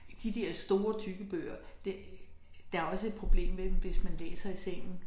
De dér store tykke bøger det der også et problem ved dem hvis man læser i sengen